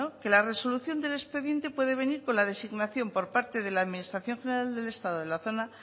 que la resolución del expedientes puede venir por la designación por parte de la administración general del estado de la zona